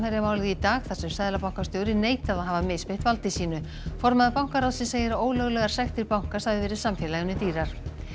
í dag þar sem seðlabankastjóri neitaði að hafa misbeitt valdi sínu formaður bankaráðsins segir að ólöglegar sektir bankans hafi verið samfélaginu dýrar